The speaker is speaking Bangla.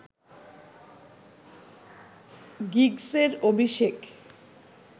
গিগসের অভিষেক